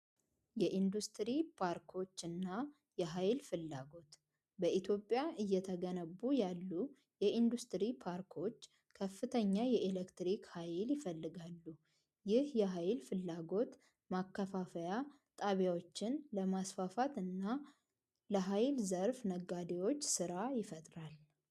የኢንዱስትሪ ፓርኮች እና የኃይል ፍላጎት በኢትዮጵያ እየተገነቡ ያሉ የኢንዱስትሪ ፓርኮች ከፍተኛ የኤሌክትሪክ ኃይል ይፈልጋሉ። ይህ የኃይል ፍላጎት ማከፋፊያ ጣቢያዎችን ለማስፋፋት እና ለኃይል ዘርፍ ነጋዴዎች ሥራ ይፈጥራል።